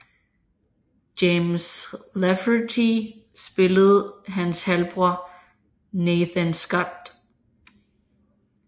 James Lafferty spillede hans halvbror Nathan Scott